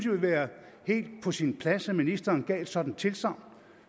ville være helt på sin plads at ministeren gav et sådant tilsagn